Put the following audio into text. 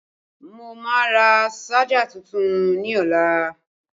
Mo máa rà ṣájà tuntun ní ọlá